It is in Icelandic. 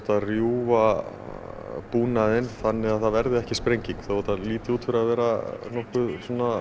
að rjúfa búnaðinn þannig að það verði ekki sprenging þó þetta líti út fyrir að vera nokkuð